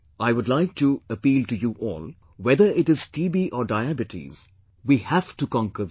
I would like to appeal to you all, whether it is TB or Diabetes, we have to conquer these